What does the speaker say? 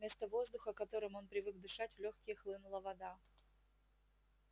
вместо воздуха которым он привык дышать в лёгкие хлынула вода